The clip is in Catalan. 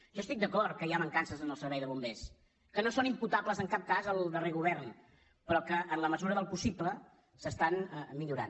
jo estic d’acord que hi ha mancances en el servei de bombers que no són imputables en cap cas al darrer govern però que en la mesura del possible es milloren